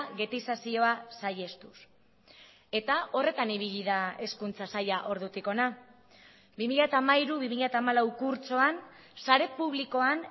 getizazioa saihestuz eta horretan ibili da hezkuntza saila ordutik hona bi mila hamairu bi mila hamalau kurtsoan sare publikoan